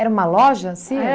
Era uma loja? A